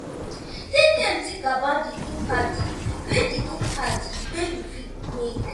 take time to think about di impact wey di impact wey you fit make